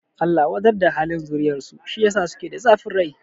Allah wadar da halin zuriyar su, shi yasa suke da zafin rai